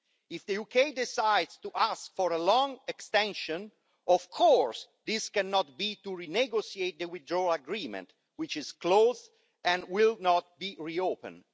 If the UK decides to ask for a long extension, of course this cannot be to renegotiate the Withdrawal Agreement, which is closed and will not be re opened.